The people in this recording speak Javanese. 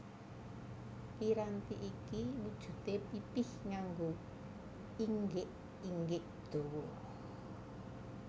Piranti iki wujudé pipih nganggo inggik inggik dawa